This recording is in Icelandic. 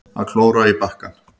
Að klóra í bakkann